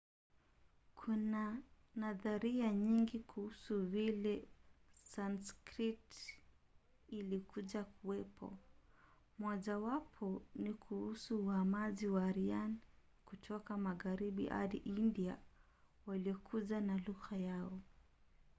kuna nadharia nyingi kuhusu vile sanskrit ilikuja kuwepo. mojawapo ni kuhusu uhamaji wa aryan kutoka magharibi hadi india waliokuja na lugha yao